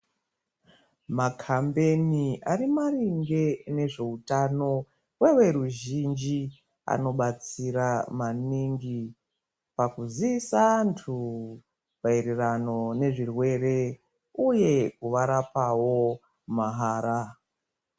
Makambeni ari maringe nezveutano kweveruzhinji anobatsira maningi pakuzoosa antu mayererano nezvirwere uye kuvarapawo mahara.